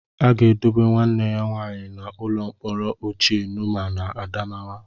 A ga-edobe nwanne ya nwaanyị n'ụlọ mkpọrọ ochie Numan nọ n'Adamawa.